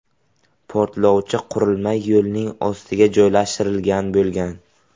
Portlovchi qurilma yo‘lning ostiga joylashtirilgan bo‘lgan.